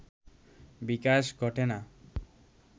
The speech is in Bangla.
বিকাশ ঘটে না